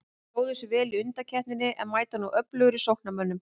Stóðu sig vel í undankeppninni en mæta nú öflugri sóknarmönnum.